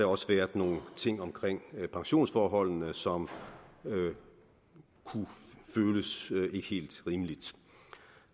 også været nogle ting omkring pensionsforholdene som kunne føles ikke helt rimelige